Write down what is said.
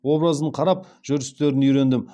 образын қарап жүрістерін үйрендім